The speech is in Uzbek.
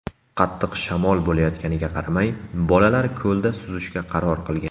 Qattiq shamol bo‘layotganiga qaramay, bolalar ko‘lda suzishga qaror qilgan.